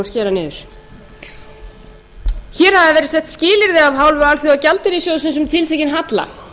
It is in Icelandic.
skera niður hér hafa verið sett skilyrði af hálfu alþjóðagjaldeyrissjóðsins um tiltekinn halla